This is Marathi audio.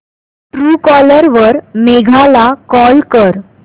ट्रूकॉलर वर मेघा ला कॉल कर